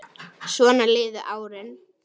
Svona liðu árin.